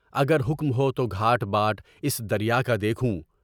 اگر حکم ہو تو گھاٹ بات اس دریا کا دیکھوں۔